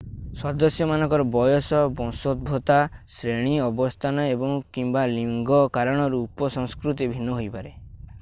ସଦସ୍ୟମାନଙ୍କର ବୟସ ବଂଶଦ୍ଭୋବତା ଶ୍ରେଣୀ ଅବସ୍ଥାନ ଏବଂ/କିମ୍ବା ଲିଙ୍ଗ କାରଣରୁ ଉପ-ସଂସ୍କୃତି ଭିନ୍ନ ହୋଇପାରେ।